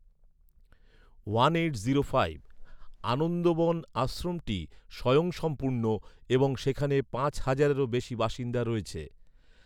আনন্দবন আশ্রমটি স্বয়ংসম্পূর্ণ, এবং সেখানে পাঁচ হাজারেরও বেশি বাসিন্দা রয়েছে৷